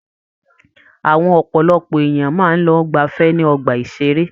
Àwọn ọpọlọpọ èèyàn máa ń lọ gbafẹ́ ní ọgbà-ìṣeré.